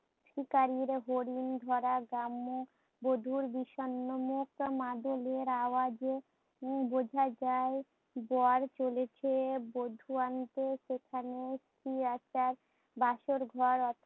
শিকারির হরিণ ধরা গ্রাম্য বধুর বিষন্ন মুখ মাদলের আরাজে বোঝা যায়। যার চলেছে বধু আনতে সেখানে বাসর ঘর